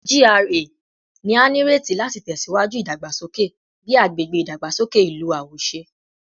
GRA ni a nireti lati tẹsiwaju idagbasoke bi agbegbe idagbasoke ilu awoṣe